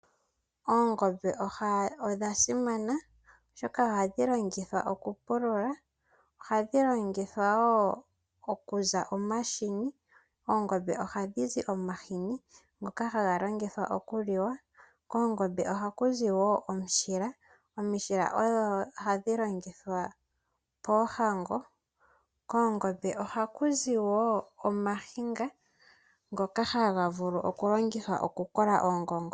Oongombe odha simana oshoka ohadhi longithwa okupulula. Ohakuzi omahini ngoka haga liwa. Koongombe ohaku zi wo omushila, omishila odho hadhi longithwa poohango. Koongombe ohaku zi woo ooniga ndhoka hadhi vulu okulongithwa okukola oongongo.